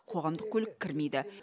қоғамдық көлік кірмейді